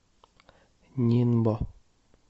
нинбо